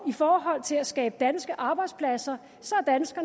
forhold til at skabe danske arbejdspladser så